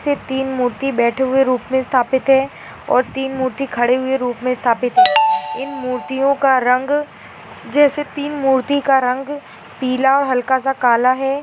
तीन मूर्ति बैठे हुए रूप में स्थापित है और तीन मूर्ति खड़े हुए रूप में स्थापित है इन मूर्तियों का रंग जैसे तीन मूर्ति का रंग पीला और हल्का-सा काला है।